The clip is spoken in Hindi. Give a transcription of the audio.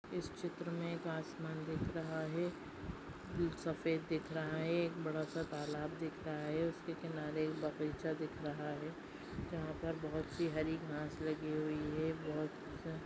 इस चित्र मे एक आसमान दिख रहा है। सफ़ेद दिख रहा है। एक बड़ा सा तालाब दिख रहा है। उसके किनारे एक बगीचा दिख रहा है। जहा पर बहुत सी हरी घास लगी हुई है। बहुत सा--